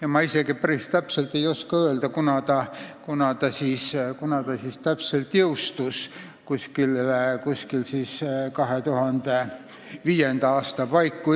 Ja ma ei oska öelda, millal ta täpselt jõustus – 2005. aasta paiku.